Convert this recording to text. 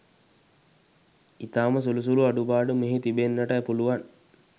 ඉතාම සුළු සුළු අඩු පාඩු මෙහි තිබෙන්නට පුළුවන්.